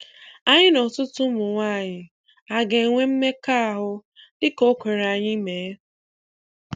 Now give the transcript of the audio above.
Anyị na ọtụtụ Ụmụnwaanyị a ga-enwe mmekọahụ dị ka o kwere anyị mee?